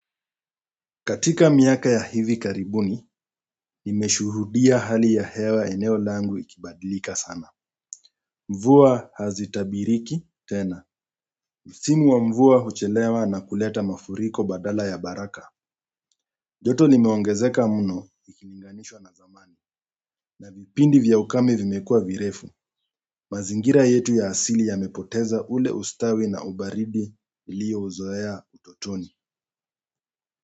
Katika miaka ya hivi karibuni, nimeshuhudia hali ya hewa eneo langu ikibadilika sana. Mvua hazitabiriki tena. Msimu wa mvua huchelewa na kuleta mafuriko badala ya baraka. Joto nimeongezeka muno, ikilinganishwa na zamani. Na vipindi vya ukame vimekuwa virefu. Mazingira yetu ya asili yamepoteza ule ustawi na ubaridi ilio uzoea utotoni.